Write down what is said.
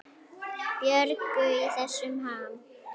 Björgu í þessum ham.